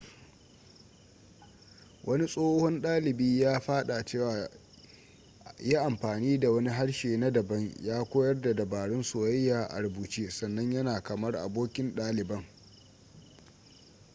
wani tsohon dalibi ya fada cewa ya ‘yi amfani da wani harshe na dabam ya koyar da dabarun soyayya a rubuce sannan yana kamar abokin daliban.’